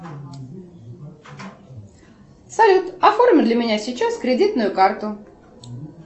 салют оформи для меня сейчас кредитную карту